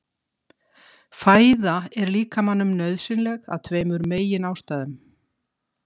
Fæða er líkamanum nauðsynleg af tveimur meginástæðum.